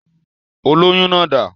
Olóyún náà dà?